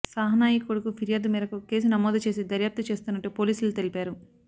సాహ్ నాయి కొడుకు ఫిర్యాదు మేరకు కేసు నమోదు చేసి దర్యాప్తు చేస్తున్నట్టు పోలీసులు తెలిపారు